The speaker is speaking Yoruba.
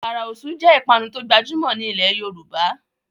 Àkàrà Òṣú jé ipanu to gbajumọ ní ilè yorùbá